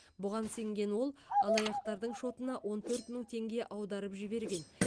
бұған сенген ол алаяқтардың шотына он төрт мың теңге аударып жіберген